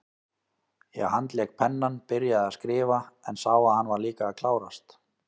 Ég handlék pennann, byrjaði að skrifa, en sá að hann var líka að klárast.